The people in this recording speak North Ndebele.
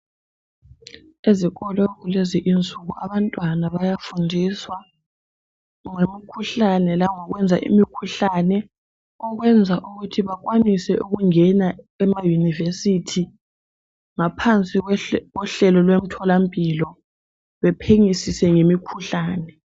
Ezikolo kulezi insuku abantwana bayafundiswa ngemikhuhlalne langokwenza imikhuhlane okwenza ukuthi bakwanise ukungena emayunivesithi ngaphansi kohlelo lwethola mpilo bephenyisise ngemikhuhlane